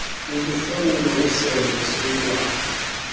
yokuhlawulwa kwesondlo somntwana